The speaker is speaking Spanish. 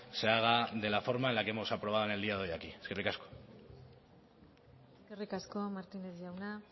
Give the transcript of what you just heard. se haga de la forma en la que hemos aprobado en el día de hoy aquí eskerrik asko eskerrik asko martínez jauna